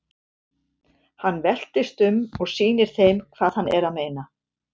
Hann veltist um og sýnir þeim hvað hann er að meina.